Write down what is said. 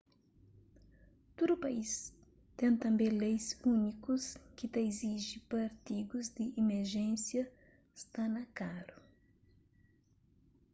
tudu país ten tanbê leis úniku ki ta iziji pa artigus di imerjénsia sta na karu